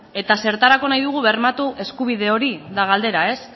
eta zertarako nahi dugu bermatu eskubide hori da galdera ba